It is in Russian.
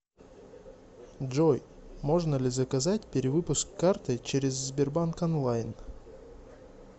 джой можно ли заказать перевыпуск карты через сбербанк онлайн